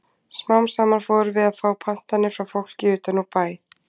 Smám saman fórum við að fá pantanir frá fólki utan úr bæ.